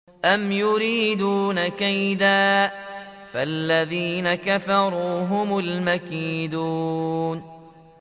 أَمْ يُرِيدُونَ كَيْدًا ۖ فَالَّذِينَ كَفَرُوا هُمُ الْمَكِيدُونَ